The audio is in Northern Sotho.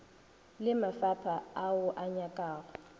le mafapha ao a nyakago